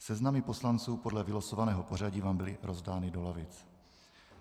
Seznamy poslanců podle vylosovaného pořadí vám byly rozdány do lavic.